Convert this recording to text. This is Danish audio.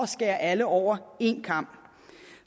skærer alle over en kam